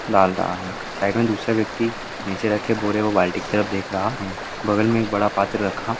डाल रहा है साइड में दूसरे व्यक्ति नीचे रख के बोले वो बाल्टी की तरफ देख रहा ह्म बगल में एक बड़ा पात्र रखा--